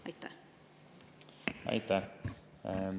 Aitäh!